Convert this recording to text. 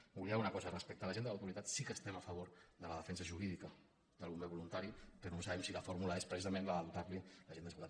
m’oblidava d’una cosa respecte a l’agent de l’autoritat sí que estem a favor de la defensa jurídica del bomber voluntari però no sabem si la fórmula és precisament la de dotar lo d’agent d’autoritat